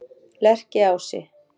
Lerkiási